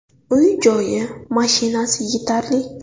Uy-joyi, mashinasi yetarli.